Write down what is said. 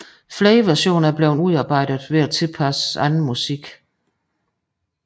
Flere versioner er blevet udarbejdet ved at tilpasse anden musik